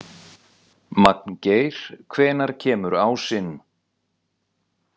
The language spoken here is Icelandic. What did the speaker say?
Magngeir, hvenær kemur ásinn?